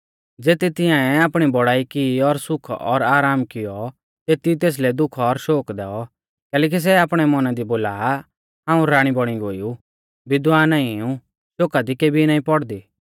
ज़ेती तिंयाऐ आपणी बौड़ाई की और सुख और आराम कियौ तेती तेसलै दुःख और शोक दैऔ कैलैकि सै आपणै मौना दी बोला आ हाऊं राणी बौणी गोई ऊ विधवा नाईं ऊ शोका दी केबी नाईं पौड़दी